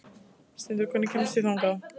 Steindór, hvernig kemst ég þangað?